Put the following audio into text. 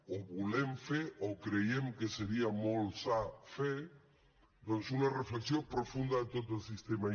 o volem fer o creiem que seria molt sa fer doncs una reflexió profunda de tot el sistema